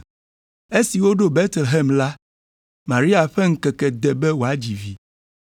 Esi woɖo Betlehem la, Maria ƒe ŋkeke de be wòadzi vi,